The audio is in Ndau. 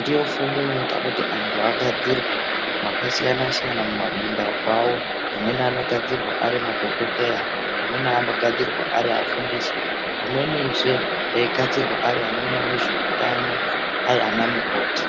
ndiyo fundo inoita kuti anhu agdzirwe, makasiyana siyana muma bindauko awo, amweni anogadzirwa ari madhokodheya , amweni anogdzirwa ari afundisi, amwenizve eigadzirwa ari ano onane zveutano ari ana mukoti.